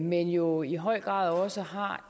men jo i høj grad også har